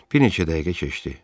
Bir neçə dəqiqə keçdi.